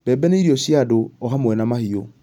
Mbebe nĩ irio cia andũ o,hamwe na mahiũ